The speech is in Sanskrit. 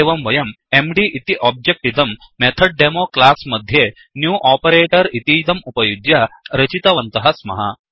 एवं वयं एमडी इति ओब्जेक्ट् इदं मेथोद्देमो क्लास् मध्ये Newन्युओपरेटर् इतीदं उपयुज्य रचितवन्तः स्मः